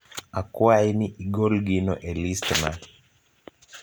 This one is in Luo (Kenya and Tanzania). Akwayi ni igol gino e listna.